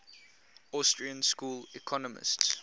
austrian school economists